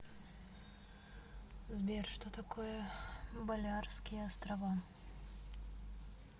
сбер что такое балеарские острова